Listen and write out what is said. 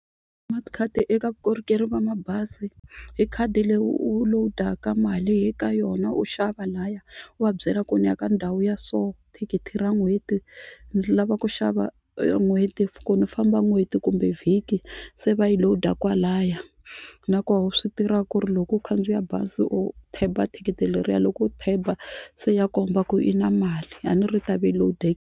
Smart card eka vukorhokeri bya mabazi i khadi leyi u lowudaka mali hi ka yona u xava lahaya u va byela ku ni ya ka ndhawu ya so thikithi ra n'hweti ni lava ku xava ra n'hweti ku ni famba n'hweti kumbe vhiki se va yi load kwalaya nakona u swi tiva ku ri loko u khandziya bazi u thikithi leriya loko u se ya komba ku i na mali a ni ri i ta ve i load-in.